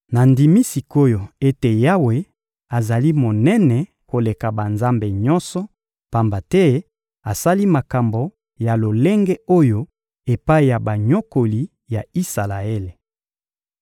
Nandimi sik’oyo ete Yawe azali monene koleka banzambe nyonso, pamba te asali makambo ya lolenge oyo epai ya banyokoli ya Isalaele.